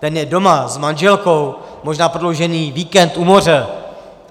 Ten je doma s manželkou, možná prodloužený víkend u moře.